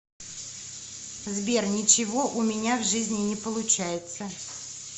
сбер ничего у меня в жизни не получается